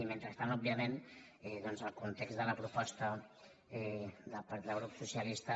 i men·trestant òbviament doncs el context de la proposta del grup socialista